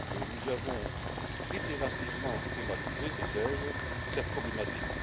Nous avons itérativement thématisé, disais je, cette problématique.